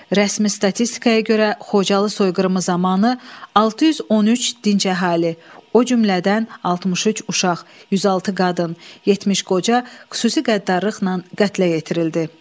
Rəsmi statistikaya görə, Xocalı soyqırımı zamanı 613 dinc əhali, o cümlədən 63 uşaq, 106 qadın, 70 qoca xüsusi qəddarlıqla qətlə yetirildi.